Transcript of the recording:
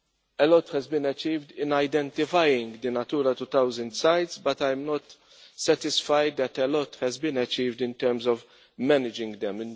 A lot has been achieved in identifying the Natura 2000 sites, but I am not satisfied that a lot has been achieved in terms of managing them.